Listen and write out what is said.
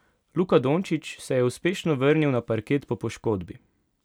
Luka Dončić se je uspešno vrnil na parket po poškodbi.